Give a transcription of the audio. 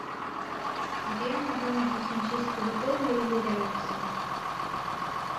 где я могу найти химчистку в отеле или рядом с ним